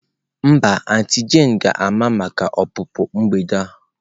Mba, auntie jane ga-ama maka ọpụpụ mgbede a.